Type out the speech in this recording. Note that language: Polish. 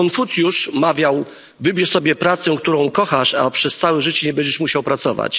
Konfucjusz mawiał wybierz sobie pracę, którą kochasz, a przez całe życie nie będziesz musiał pracować.